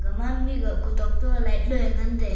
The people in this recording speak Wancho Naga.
gaman ega kutok toye light loye ngan te--